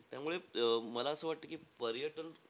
त्यामुळे अं मला असं वाटतं की पर्यटन,